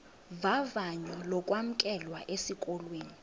vavanyo lokwamkelwa esikolweni